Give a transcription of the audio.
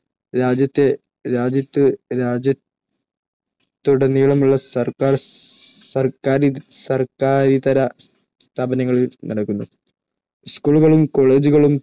രാജ്യത്തുടനീളമുള്ള സർക്കാർ, സർക്കാരിതര സ്ഥാപനങ്ങളിൽ നടക്കുന്നു. school കളും, college കളും